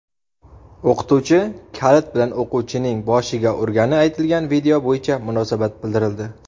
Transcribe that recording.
O‘qituvchi kalit bilan o‘quvchining boshiga urgani aytilgan video bo‘yicha munosabat bildirildi.